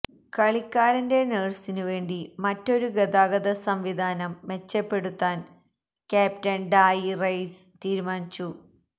കളിക്കാരന്റെ നഴ്സിനു വേണ്ടി മറ്റൊരു ഗതാഗത സംവിധാനം മെച്ചപ്പെടുത്താൻ ക്യാപ്റ്റൻ ഡായി റെയ്സ് തീരുമാനിച്ചു